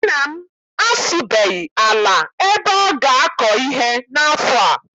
Nna m asụbeghị ala ebe ọ ga- akọ ihe n'afọ a.